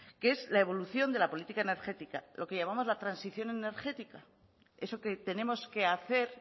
que es la evolución de la política energética lo que llamamos la transición energética eso que tenemos que hacer